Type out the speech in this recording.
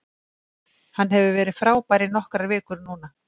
Hann hefur verið frábær í nokkrar vikur núna.